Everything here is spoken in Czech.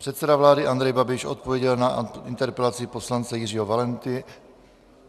Předseda vlády Andrej Babiš odpověděl na interpelaci poslance Jiřího Valenty...